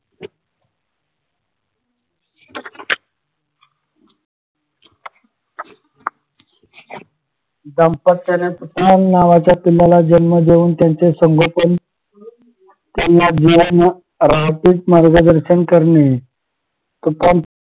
दाम्पत्याने नावाच्या पिलाला जन्म देऊन त्यांचे संगोपन मार्गदर्शन करणे